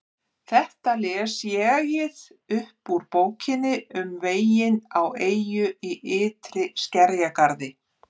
Þetta les ÉG-ið upp úr Bókinni um veginn á eyju í ytri skerjagarði